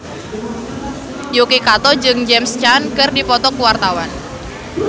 Yuki Kato jeung James Caan keur dipoto ku wartawan